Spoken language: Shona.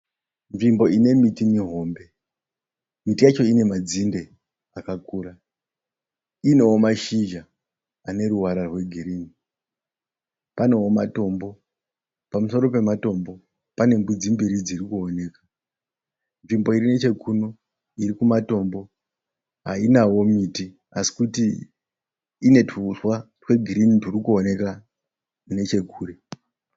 Nzvimbo inemiti mihombe, miti yacho inemadzinde akakura inewo mashizha aneruvara rwegirini. Panewo matombo pamusoro, pematombo panembudzi mbiri dzirikuoneka. Nzvimbo irinechekuno irikumatombo hainawo miti asi kuti inetuuswa twegirini turikuoneka nechekure.